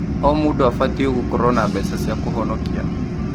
O mũndũ abatiĩ gũkorwo na mbeca cia kũhonokia.